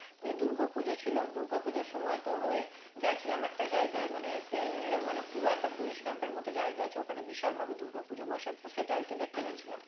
নিয়ে দুর্গোপূজো ছিল দুর্গোপূজোর সময় তোর ওই গেছিলাম একটা জায়গায় মানে সেই মানে পুরো একটা police camp এর মত জায়গা আছে ওখানে বিশাল ভাবে দুর্গোপূজো বসে তো সেটা আরকি দেখতে গেছিলাম